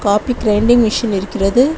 Coffee grinding machine இருக்கிறது.